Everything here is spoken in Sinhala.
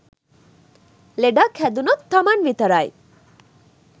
ලෙඩක් හැදුනොත් තමන් විතරයි.